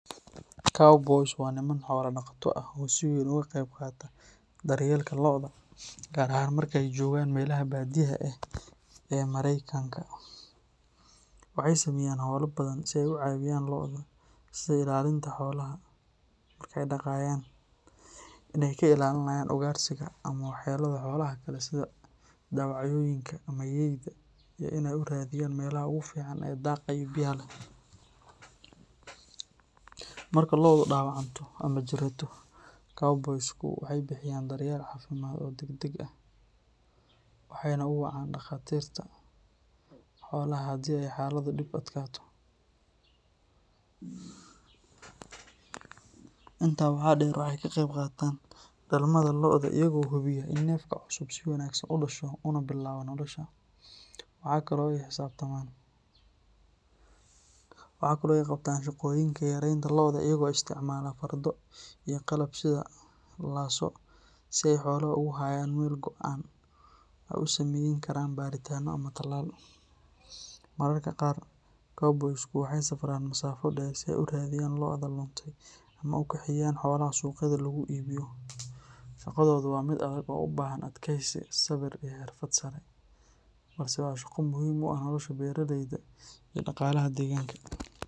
Cowboys waa niman xoolo-dhaqato ah oo si weyn uga qayb qaata daryeelka lo’da, gaar ahaan marka ay joogaan meelaha baadiyaha ah ee Maraykanka. Waxay sameeyaan hawlo badan si ay u caawiyaan lo’da, sida ilaalinta xoolaha marka ay daaqayaan, in ay ka ilaalinayaan ugaadhsiga ama waxyeellada xoolaha kale sida dawacooyinka ama yeyda, iyo in ay u raadiyaan meelaha ugu fiican ee daaqa iyo biyaha leh. Marka lo’du dhaawacanto ama jirato, cowboys-ku waxay bixiyaan daryeel caafimaad oo degdeg ah, waxayna u wacaan dhakhaatiirta xoolaha haddii ay xaaladdu dhib adkaato. Intaa waxaa dheer, waxay ka qayb qaataan dhalmada lo’da, iyaga oo hubiya in neefka cusub si wanaagsan u dhasho una bilaabo nolosha. Waxa kale oo ay qabtaan shaqooyinka xareynta lo’da, iyagoo isticmaala fardo iyo qalab sida lasso si ay xoolaha ugu hayaan meel go’an oo ay u samayn karaan baaritaanno ama tallaal. Mararka qaar, cowboys-ku waxay safraan masaafo dheer si ay u raadiyaan lo’da luntay ama u kaxeeyaan xoolaha suuqyada lagu iibiyo. Shaqadoodu waa mid adag oo u baahan adkaysi, sabir, iyo xirfad sare, balse waa shaqo muhiim u ah nolosha beeraleyda iyo dhaqaalaha deegaanka.